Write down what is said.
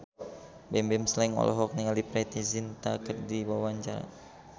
Bimbim Slank olohok ningali Preity Zinta keur diwawancara